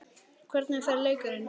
Hvernig fer leikurinn?